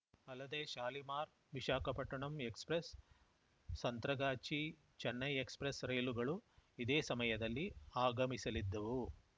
ಅಲ್ಲದೇ Shalimar Visakhapatnam express Santragachi Chennai express ರೈಲುಗಳು ಇದೇ ಸಮಯಲ್ಲಿ ಆಗಮಿಸಲಿದ್ದವು